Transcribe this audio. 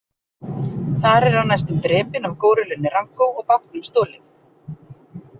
Þar er hann næstum drepinn af górillunni Ranko og bátnum stolið.